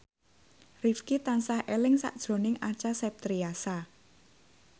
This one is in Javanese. Rifqi tansah eling sakjroning Acha Septriasa